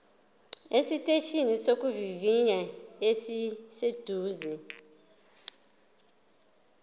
esiteshini sokuvivinya esiseduze